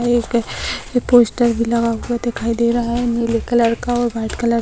एक पोस्टर भी लगा हुआ दिखाई दे रहा है नीले कलर का और व्हाइट कलर --